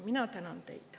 Mina tänan teid!